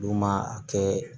N'u ma kɛ